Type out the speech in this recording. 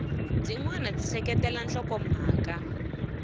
byin wana byi seketela nhlokomhaka